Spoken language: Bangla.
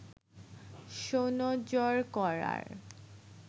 সুনজর করার